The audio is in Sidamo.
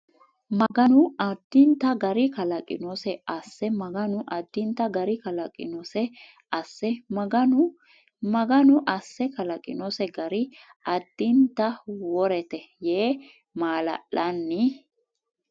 Maganu addinta gari kalaqinose asse Maganu addinta gari kalaqinose asse Maganu Maganu asse kalaqinose gari addinta worete yee maala lanni !